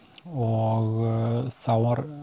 og þá var